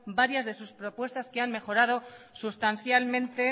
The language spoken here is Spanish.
varias de sus propuestas que han mejorado sustancialmente